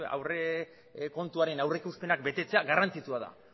aurrekontuaren aurrikuspenak betetzea garrantzitsua da